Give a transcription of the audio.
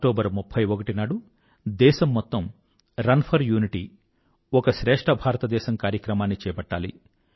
October 31 నాడు దేశం మొత్తం రన్ ఫర్ యూనిటీ ఒక శ్రేష్ఠ భారత దేశం కార్యక్రమాన్ని చేపట్టాలి